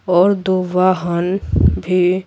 और दो वाहन भी--